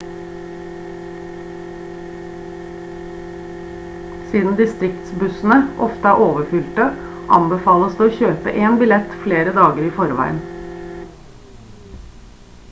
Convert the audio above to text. siden distriktsbussene ofte er overfylte anbefales det å kjøpe en billett flere dager i forveien